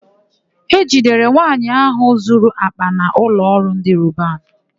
E jidere nwaanyị áhụ̀ zuru àkpà na ụlọọrụ ndị Robanu.